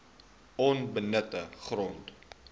onbenutte grond